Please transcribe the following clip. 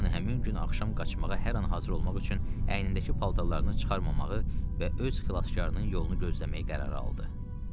Loran həmin gün axşam qaçmağa hər an hazır olmaq üçün əynindəki paltarlarını çıxarmamağı və öz xilaskarının yolunu gözləməyə qərar aldı.